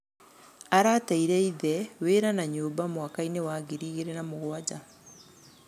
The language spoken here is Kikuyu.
Arateire ithe, wĩra na nyũmba mwakainĩ wa ngiri igĩrĩ na mũgwanja.